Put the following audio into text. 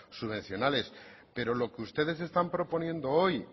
subvencionales pero lo que ustedes están proponiendo hoy